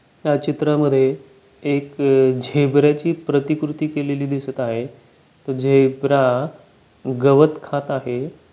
या चित्रा मध्ये एक झेब्रेची प्रतिकृती केलेली दिसत आहे तो झेब्रा गवत खात आहे.